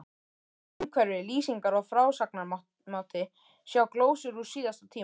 Umhverfi, lýsingar og frásagnarmáti, sjá glósur úr síðasta tíma